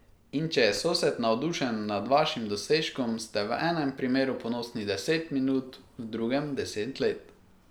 In če je sosed navdušen nad vašim dosežkom, ste v enem primeru ponosni deset minut, v drugem deset let.